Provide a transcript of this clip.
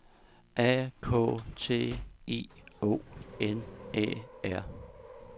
A K T I O N Æ R